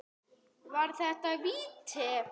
Var þetta víti?